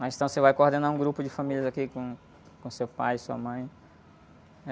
Mas então você vai coordenar um grupo de famílias aqui com, com seu pai, sua mãe.